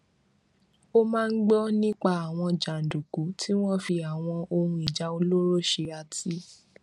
ó máa ń gbó nípa àwọn jàǹdùkú tí wọ́n fi àwọn ohun ìjà olóró ṣe àti